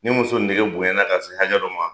Ni muso nege bonya na ka se hakɛ dɔ ma